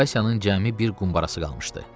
Vasyanın cəmi bir qumbarası qalmışdı.